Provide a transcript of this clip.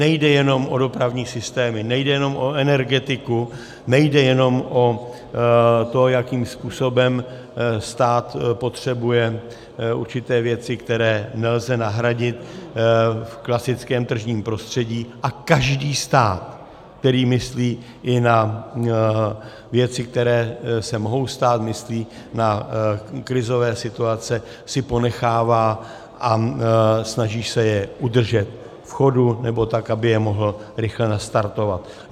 Nejde jenom o dopravní systémy, nejde jenom o energetiku, nejde jenom o to, jakým způsobem stát potřebuje určité věci, které nelze nahradit v klasickém tržním prostředí, a každý stát, který myslí i na věci, které se mohou stát, myslí na krizové situace, si ponechává a snaží se je udržet v chodu nebo tak, aby je mohl rychle nastartovat.